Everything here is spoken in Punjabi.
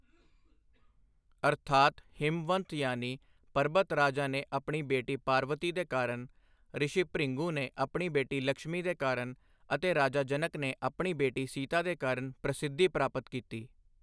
ਅਰਥਾਤ ਹਿਮਵੰਤ ਯਾਨੀ ਪਰਬਤ ਰਾਜਾ ਨੇ ਆਪਣੀ ਬੇਟੀ ਪਾਰਵਤੀ ਦੇ ਕਾਰਨ, ਰਿਸ਼ੀ ਭ੍ਰਿਗੂ ਨੇ ਆਪਣੀ ਬੇਟੀ ਲਕਸ਼ਮੀ ਦੇ ਕਾਰਨ ਅਤੇ ਰਾਜਾ ਜਨਕ ਨੇ ਆਪਣੀ ਬੇਟੀ ਸੀਤਾ ਦੇ ਕਾਰਨ ਪ੍ਰਸਿੱਧੀ ਪ੍ਰਾਪਤ ਕੀਤੀ।